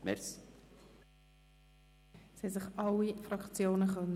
Alle Fraktionen haben sich zu Wort melden können.